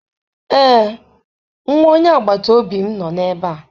Ee, nwa onye agbata obi m nọ ebe a.